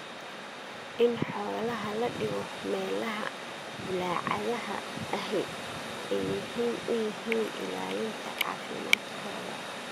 In xoolaha la dhigo meelaha bulaacadaha ahi ay muhiim u yihiin ilaalinta caafimaadkooda.